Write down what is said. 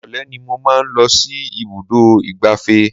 Ìrọ̀lẹ́ ni mo máa ń lọ sí ibùdó ìgbáfẹ́